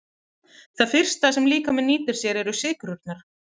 Það fyrsta sem líkaminn nýtir sér eru sykrurnar.